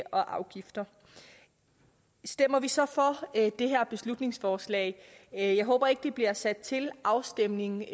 og afgifter stemmer vi så for det her beslutningsforslag jeg jeg håber ikke at det bliver sat til afstemning